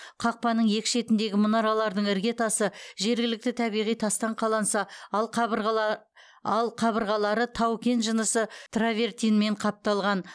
қақпаның екі шетіндегі мұнаралардың іргетасы жергілікті табиғи тастан қаланса ал қабырғалары тау кен жынысы травертинмен қапталған